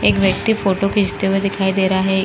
एक व्यक्ती फ़ोटो खीचते हुए दिखाई दे रहा है।